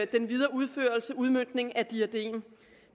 den videre udførelse og udmøntningen af diadem